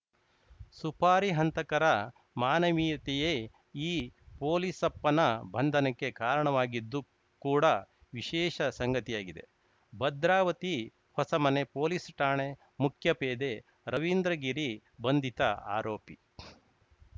ಸುಪಾರಿ ಹಂತಕರ ಮಾನವೀಯತೆಯೇ ಈ ಪೊಲೀಸಪ್ಪನ ಬಂಧನಕ್ಕೆ ಕಾರಣವಾಗಿದ್ದು ಕೂಡ ವಿಶೇಷ ಸಂಗತಿಯಾಗಿದೆ ಭದ್ರಾವತಿ ಹೊಸಮನೆ ಪೊಲೀಸ್‌ ಠಾಣೆ ಮುಖ್ಯಪೇದೆ ರವೀಂದ್ರಗಿರಿ ಬಂಧಿತ ಆರೋಪಿ